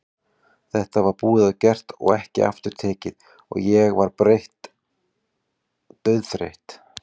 Þetta var búið og gert og ekki aftur tekið og ég var þreytt, dauðþreytt.